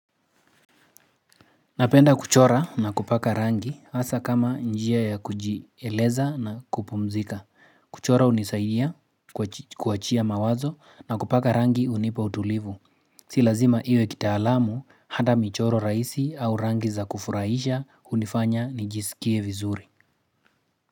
Napenda kuchora na kupaka rangi hasa kama njia ya kujieleza na kupumzika. Kuchora hunisaidia kuachia mawazo na kupaka rangi hunipa utulivu. Silazima iwe kita alamu hata michoro rahisi au rangi za kufurahisha hunifanya nijisikie vizuri.